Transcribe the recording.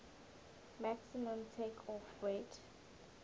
maximum takeoff weight